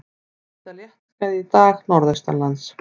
Víða léttskýjað í dag norðaustanlands